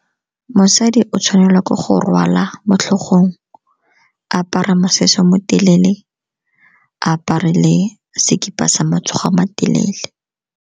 Mosadi o tshwanelwa ke go rwala mo tlhogong, a apara mosese mo telele, a apare le sekipa sa matsogo a matelele.